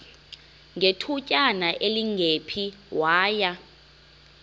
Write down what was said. ngethutyana elingephi waya